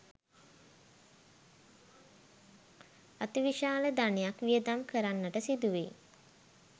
අතිවිශාල ධනයක් වියදම් කරන්නට සිදුවෙයි.